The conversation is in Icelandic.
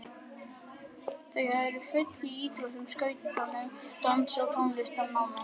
Þau eru á fullu í íþróttum, skátunum, dansi og tónlistarnámi.